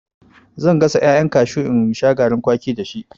Zan gasa ƴaƴan kashu in sha garin kwaki dashi.